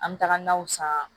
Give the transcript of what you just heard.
An bɛ taga naw san